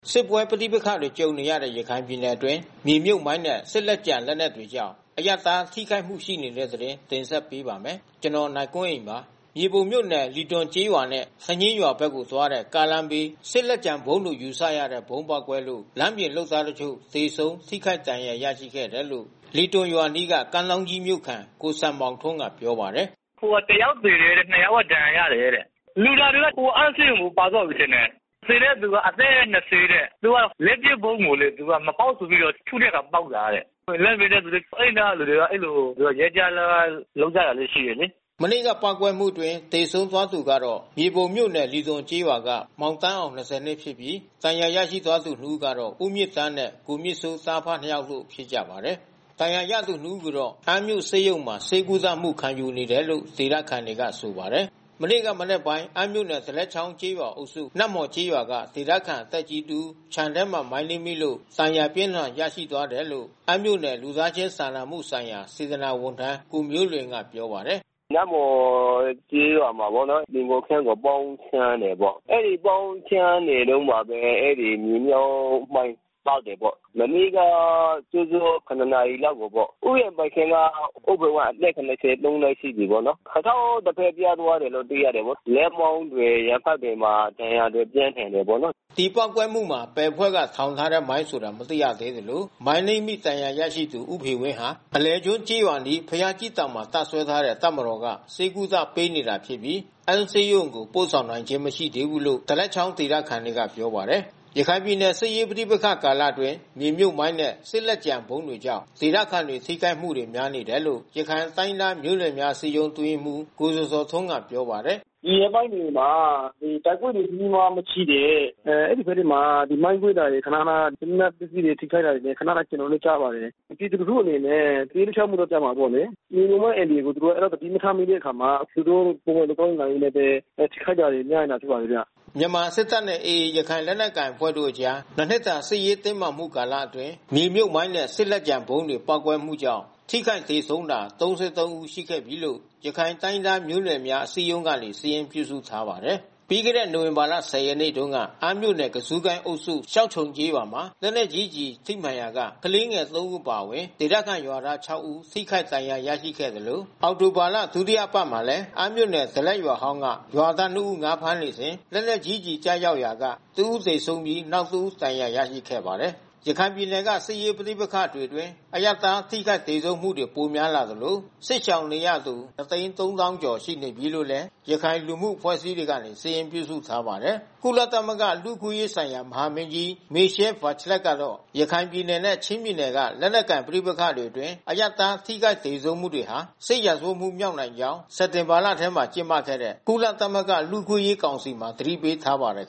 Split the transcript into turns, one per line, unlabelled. စစ်ပွဲပဋိပက္ခတွေ ကြုံနေရတဲ့ ရခိုင်ပြည်နယ်တွင်း မြေမြှုပ်မိုင်းနဲ့ စစ်လက်ကျန်လက်နက်တွေကြောင့် အရပ်သားထိခိုက်မှုတွေ ရှိနေပါတယ်။ အပြည့်အစုံကို နိုင်ကွန်းအိန် စုစည်းတင်ပြထားပါတယ်။ မြေပုံမြို့နယ် လီသွန်ကျေးရွာနဲ့ စညင်းရွာဘက်ကိုသွားတဲ့ ကားလမ်းဘေး စစ်လက်ကျန်ဗုံးလို့ ယူဆရတဲ့ ဗုံးပေါက်ကွဲလို့ လမ်းပြင်လုပ်သားတချို့ သေဆုံး ထိခိုက်ဒဏ်ရာ ရရှိခဲ့တယ်လို့ လီသွန်ရွာအနီး ကမ်းထောင်းကြီးမြို့ခံ ကိုစံမောင်ထွန်းက ပြောပါတယ်။ “တယောက်သေတယ်၊ နှစ်ယောက်က ဒဏ်ရာရတယ်တဲ့။ လူနာတွေတော့ အမ်းဆေးရုံကို ပါသွားပြီထင်တယ်။ သေတဲ့သူက အသက် ၂၀ တဲ့။ လက်ပစ်ဗုံးကို သူကမပေါက်ဆိုပြီးတော့ ထုတဲ့အခါ ပေါက်တာတဲ့။ လမ်းပြင်တဲ့သူတွေ။ အဲဒီနားကသူတွေ အဲဒီလိုရွက်ကျ အလုပ်လုပ်ကြတာ ရှိတယ်လေ။” မနေ့ကပေါက်ကွဲမှုအတွင်း သေဆုံးသွားသူကတော့ မြေပုံမြို့နယ်၊ လီသွန်ကျေးရွာက မောင်သန်းအောင် ၂ဝ နှစ်ဖြစ်ပြီး ဒဏ်ရာရရှိသွားသူ ၂ ဦးကတော့ ဦးမြင့်သန်းနဲ့ ကိုမြင့်စိုး သားအဖနှစ်ယောက်တို့ ဖြစ်ကြပါတယ်။ ဒဏ်ရာရသူနှစ်ဦးကိုတော့ အမ်းမြို့ဆေးရုံမှာ ဆေးကုသမှု ခံယူနေတယ်လို့ ဒေသခံတွေက ဆိုပါတယ်။ မနေ့ကမနက်ပိုင်း အမ်းမြို့နယ် ဒလက်ချောင်းကျေးရွာအုပ်စု နတ်မော်ကျေးရွာက ဒေသခံသက်ကြီးတဦး ခြံထဲမှာ မိုင်းနင်းမိလို့ ဒဏ်ရာအပြင်းအထန် ရရှိသွားတယ်လို့ အမ်းမြို့နယ် လူသားချင်းစာနာမှုဆိုင်ရာ စေတနာ့ဝန်ထမ်း ကိုမျိုးလွင်က ပြောပါတယ်။ “နတ်မှော်ကျေးရွာမှာပေါ့နော်။ သီဟိုခြံကို ပေါင်းရှင်းတာပေါ့။ အဲဒီပေါင်းရှင်းနေတုန်းမှာပဲ အဲဒီမြေမြှုပ်မိုင်း ပေါက်တယ်ပေါ့။ မနေ့ကစောစော ၇ နာရီလောက်ကိုပေါ့။ ဥယျာဉ်ပိုင်ရှင်က ဦးဖေဝင်း အသက် ၇၃ နှစ်ရှိပြီပေါ့။ ခြေထောက်တဖက် ပြတ်သွားတယ်လို့တော့ သိရတယ်။ လက်မောင်းတွေ ရင်ဘတ်တွေမှာ ဒဏ်ရာပြင်းထန်တယ်ပေါ့နော်။” ဒီပေါက်ကွဲမှုမှာ ဘယ်အဖွဲ့ထောင်ထားတဲ့မိုင်းဆိုတာ မသိရသေးသလို မိုင်းနင်းမိ ဒဏ်ရာရရှိသူ ဦးဖေဝင်းဟာ အလယ်ကျွန်းကျေးရွာအနီး ဘုရားကြီးတောင်မှာ တပ်စွဲထားတဲ့ တပ်မတော်က ဆေးကုသပေးနေတာဖြစ်ပြီး အမ်းဆေးရုံကို ပို့ဆောင်နိုင်ခြင်း မရှိသေးဘူးလို့ ဒလက်ချောင်းဒေသခံတွေက ပြောပါတယ်။ ရခိုင်ပြည်နယ် စစ်ရေးပဋိပက္ခ ကာလအတွင်း မြေမြှုပ်မိုင်းနဲ့ စစ်လက်ကျန်ဗုံးတွေကြောင့် ဒေသခံတွေ ထိခိုက်မှုတွေ များနေတယ်လို့ ရခိုင်တိုင်းရင်းသားမျိုးနွယ်များ အစည်းအရုံး အတွင်းရေးမှူး ကိုဇော်ဇော်ထွန်းက ပြောပါတယ်။ “ဒီရက်ပိုင်းတွေမှာ တိုက်ပွဲတွေ ကြီးကြီးမားမားမရှိတဲ့ အဲဒီဘက်တွေမှာ မိုင်းကွဲတာတွေ ခနခန စစ်လက်နက်ပစ္စည်း ထိခိုက်တာတွေ ခနခန ကျွန်တော်တို့ ကြားပါတယ်။ ပြည်သူလူထုအနေနဲ့ ပဋိပက္ခကြားမှာပေါ့လေ။ မြေမြှုပ်မိုင်းအန္တရာယ်ကို သူတို့ သတိမထားမိတဲ့အခါမှာ သူတို့ ပုံမှန်သွားရင်းလာရင်းနဲ့ပဲ ထိခိုက်တာတွေများတာ တွေ့ပါတယ်ဗျ။” မြန်မာစစ်တပ်နဲ့ AA ရခိုင်လက်နက်ကိုင်အဖွဲ့တို့အကြား ၂ နှစ်တာ စစ်ရေးတင်းမာမှု ကာလအတွင်း မြေမြှုပ်မိုင်းနဲ့ စစ်လက်ကျန်ဗုံးတွေ ပေါက်ကွဲမှုကြောင့် ထိခိုက်သေဆုံးတာ ၃၃ ဦးရှိနေပြီလို့ ရခိုင်တိုင်းရင်းသားမျိုးနွယ်များ အစည်းအရုံးကနေ စာရင်းပြုစုထားပါတယ်။ ပြီးခဲ့တဲ့ နိုဝင်ဘာ ၁၀ ရက်နေ့တုန်းက အမ်းမြို့နယ် ကဇုကိုင်းအုပ်စု၊ ရှောက်ခြုံကျေးရွာမှာ လက်နက်ကြီးကျည် ထိမှန်ရာက ကလေးငယ် ၃ ဦး အပါအဝင် ဒေသခံရွာသား ၆ ဦး ထိခိုက်ဒဏ်ရာရခဲ့သလို အောက်တိုဘာလ ဒုတိယအပတ်မှာလည်း အမ်းမြို့နယ် ဒလက်ရွာဟောင်းက ရွာသား ၂ ဦး ငါးဖမ်းနေစဉ် လက်နက်ကြီးကျည် ကျရောက်ရာက တဦးသေဆုံးပြီး နောက်တဦး ဒဏ်ရာရရှိခဲ့ပါတယ်။ ရခိုင်ပြည်နယ်က စစ်ရေးပဋိပက္ခတွေအတွင်း အရပ်သား ထိခိုက်သေဆုံးမှုတွေ ပိုများလာသလို စစ်ရှောင်နေရသူ ၂၃၀,၀၀၀ ကျော် ရှိနေပြီလို့လည်း ရခိုင်လူမှုအဖွဲ့အစည်းတွေက စာရင်းပြုစုထားပါတယ်။ ကုလသမဂ္ဂ လူ့အခွင့်အရေးဆိုင်ရာ မဟာမင်းကြီး Michelle Bachelet ကတော့ ရခိုင်ပြည်နယ်နဲ့ ချင်းပြည်နယ်တွေက လက်နက်ကိုင် ပဋိပက္ခတွေအတွင်း အရပ်သား ထိခိုက်သေဆုံးမှုတွေဟာ စစ်ရာဇဝတ်မှုမြောက်နိုင်ကြောင်း စက်တင်ဘာလထဲ ကျင်းပခဲ့တဲ့ ကုလသမဂ္ဂ လူ့အခွင့်အရေးကောင်စီမှာ သတိပေးထားပါတယ်